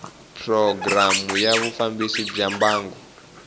programu ya vufambisi bya mbangu